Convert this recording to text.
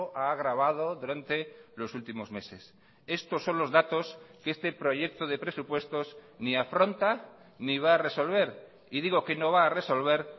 ha agravado durante los últimos meses estos son los datos que este proyecto de presupuestos ni afronta ni va a resolver y digo que no va a resolver